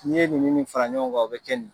N'i ye nin ni nin fara ɲɔgɔn kan o bɛ kɛ nin ye.